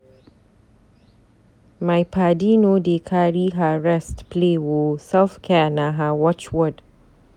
My paddy no dey carry her rest play o, self-care na her watch word.